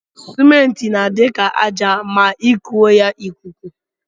Cement na adi ka aja ma ikuọ ya ikuku.